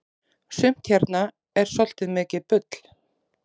sumt hérna er svoltið mikið bull